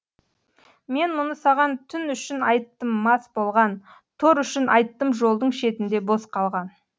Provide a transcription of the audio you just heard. мен мұны саған түн үшін айттым мас болған тор үшін айттым жолдың шетінде бос қалған